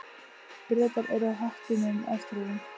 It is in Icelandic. Bretar eru á höttunum eftir honum.